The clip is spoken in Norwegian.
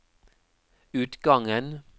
utgangen